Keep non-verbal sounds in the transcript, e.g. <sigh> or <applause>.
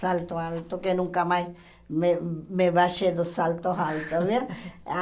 Salto alto, que nunca mais me me baixei dos saltos altos, viu? <laughs>